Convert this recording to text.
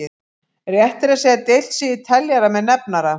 Rétt er að segja deilt sé í teljara með nefnara.